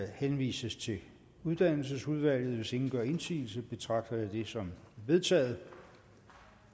henvises til uddannelsesudvalget hvis ingen gør indsigelse betragter jeg det som vedtaget